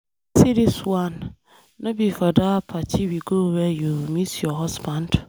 See dis one. No be for dat party we go wey you meet your husband.